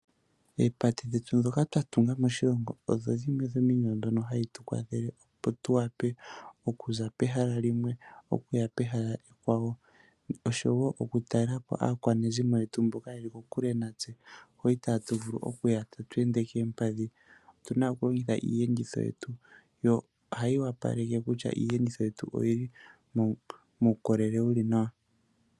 Oopate dhetu dhoka twa tunga moshilongo , odho dhimwe dho miinima mbyoka hayi tukwathele opo tu vule oku za pehala limwe okuya kehala ekwawo, osho wo oku talelapo aakwanezimo yetu mboka yeli kokule natse, hoka itatu vulu oku ya tatu ende koompadhi, atuyi niiyenditho yetu, nohayi kwashilipaleke kutya iiyenditho yetu oyili muukolele wuli nawa.